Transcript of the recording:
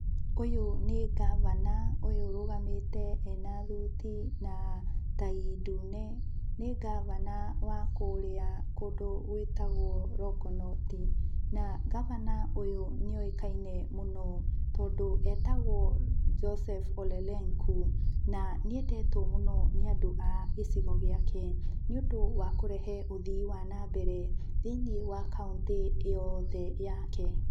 Ũyũ nĩ governor ũyũ ũrũgamĩte ena thuti na tai ndune, nĩ governor wa kũrĩa kũndũ gwĩtagwo Longonot, na governor ũyũ nĩ oĩkaine mũno tondũ etagwo Joseph Olelenku, na nĩ endetwo mũno nĩ andũ a gĩcigo gĩake, nĩũndũ wa kũrehe ũthii wa nambere thĩinĩ wa kauntĩ yothe yake.